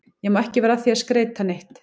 Ég má ekkert vera að því að skreyta neitt.